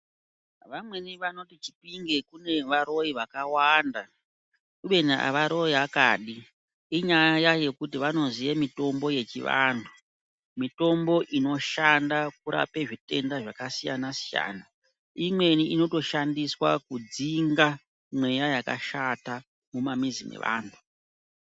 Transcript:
Vamweni vanoti chipinge kune varoi vakawanda kubeni havaroya kadi, inyaya yekuti vanoziya mitombo yechiantu. Mitombo inoshanda kurape zvitenda zvakasiyana-siyana. Imweni inotoshandiswa kudzinga mweya yakashata mumamizi mevantu.